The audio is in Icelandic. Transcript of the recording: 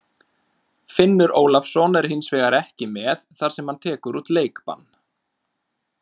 Finnur Ólafsson er hins vegar ekki með þar sem hann tekur út leikbann.